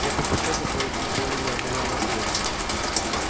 я предпочёл бы получить более неординарный совет